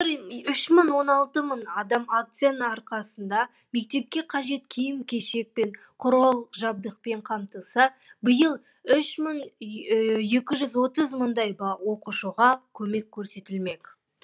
былтыр үш мың он алты мың бала акцияның арқасында мектепке қажет киім кешек пен құрал жабдықпен қамтылса биыл үш мың екі жүз отыз мыңдай оқушыға көмек көрсетілмек